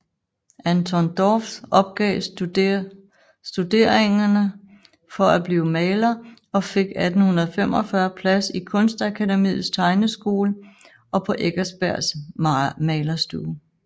Anton Dorph opgav studeringerne for at blive maler og fik 1845 plads i Kunstakademiets tegneskole og på Eckersbergs malerstue